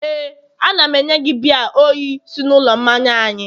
Éè, a na m enye gị biya oyi si n'ụlọ mmanya anyị